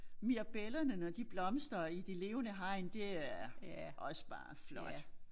Mirabellerne når de blomstre i de levende hegn det er også bare flot